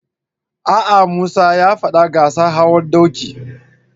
A'a, Musa ya faɗi gasar hawan doki.